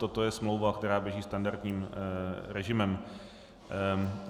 Toto je smlouva, která běží standardním režimem.